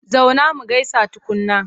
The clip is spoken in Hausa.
Zauna mu gaisa tukunna!